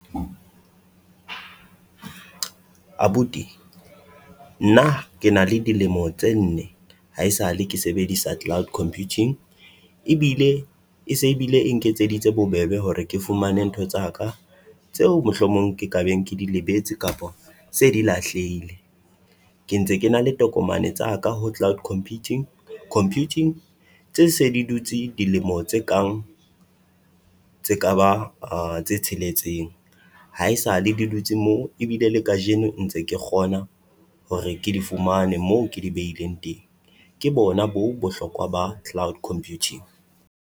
Abuti nna ke na le dilemo tse nne haesale ke sebedisa cloud computing, ebile e se e bile e nketseditse bobebe hore ke fumane ntho tsa ka tseo mohlomong ke ka beng ke di lebetse kapa se di lahlehile. Ke ntse ke na le tokomane tsa ka ho cloud computing computing, tse se di dutse dilemo tse kang tse ka ba tse tsheletseng. Haesale di dutse moo ebile le kajeno ntse ke kgona hore ke di fumane moo ke di behileng teng. Ke bona boo bohlokwa ba cloud computing.